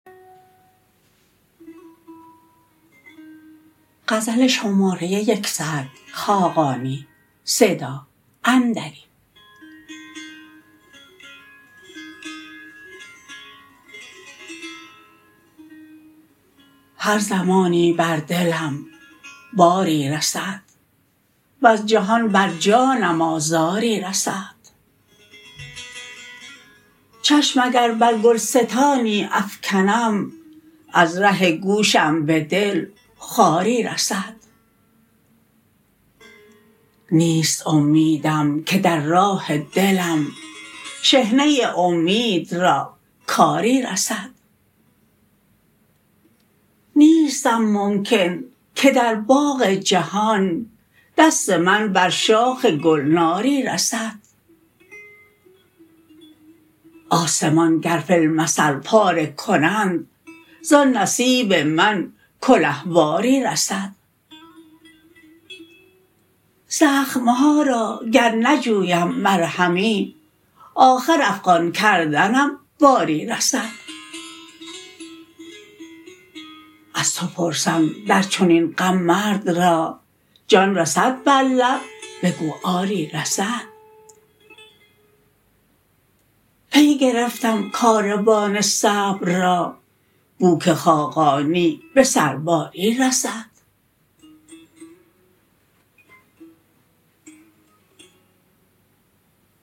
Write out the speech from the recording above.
هر زمانی بر دلم باری رسد وز جهان بر جانم آزاری رسد چشم اگر بر گلستانی افکنم از ره گوشم به دل خاری رسد نیست امیدم که در راه دلم شحنه امید را کاری رسد نیستم ممکن که در باغ جهان دست من بر شاخ گلناری رسد آسمان گر فی المثل پاره کنند زان نصیب من کله واری رسد زخم ها را گر نجویم مرهمی آخر افغان کردنم باری رسد از تو پرسم در چنین غم مرد را جان رسد بر لب بگو آری رسد پی گرفتم کاروان صبر را بو که خاقانی به سرباری رسد